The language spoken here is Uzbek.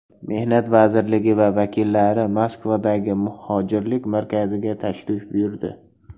Mehnat vazirligi vakillari Moskvadagi muhojirlik markaziga tashrif buyurdi.